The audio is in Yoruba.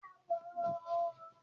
Ìgbàwo ni ò ń lọ sí ilé-ìtàjà náà